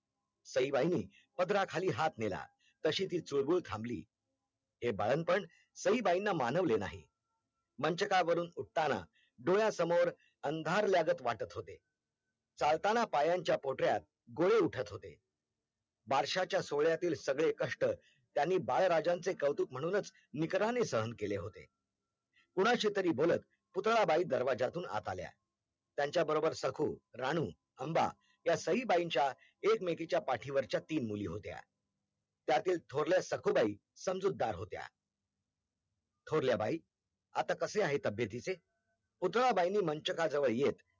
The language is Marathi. हंबा या सईबाईंच्या एक मेकीच्या पाठीवरच्या तीन मुली होत्या त्यातील थोरल्या सखुबाई समजुद्दार होत्या थोरल्या बाई आता कसे आहे तबेत हिचे? पुतळाबाईंनी मंचरका जवळ येत